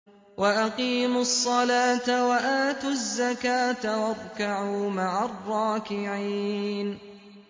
وَأَقِيمُوا الصَّلَاةَ وَآتُوا الزَّكَاةَ وَارْكَعُوا مَعَ الرَّاكِعِينَ